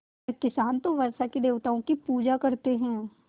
पर किसान तो वर्षा के देवताओं की पूजा करते हैं